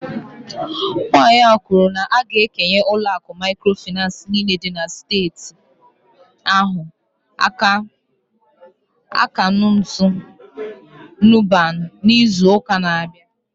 Nwanyị a kwuru na a ga-ekenye ụlọ akụ microfinance niile dị na steeti ahụ akaụntụ NUBAN n'izu ụka na-abịa